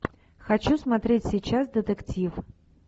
хочу смотреть сейчас детектив